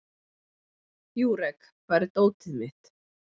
Júrek, hvar er dótið mitt?